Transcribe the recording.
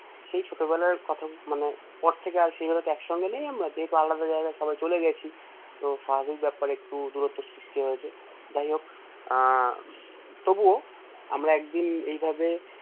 সেই ছোটবেলার কথা মানে পর থেকে আর সেভাবে তো একসঙ্গে নেই আমরা যেহেতু আলাদা জায়গায় সবাই চলে গেছি তো স্বাভাবিক ব্যাপার একটু দূরত্ব সৃষ্টি হয়েছে যায় হোক আহ তবুও আমরা একদিন এইভাবে